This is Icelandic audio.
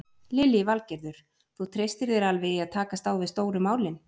Lillý Valgerður: Þú treystir þér alveg í að takast á við stóru málin?